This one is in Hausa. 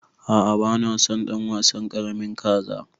A'a bana son ɗan wasan ƙaramin kaza.